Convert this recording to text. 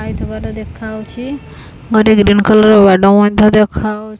ଆଇଥିବାର ଦେଖାହଉଚି ଗୋଟେ green colour garden ତ ଦେଖାହଉ--